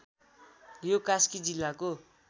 यो कास्की जिल्लाको